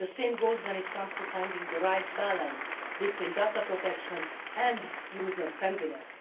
The same goes when it comes to finding the right balance between data protection and user friendliness.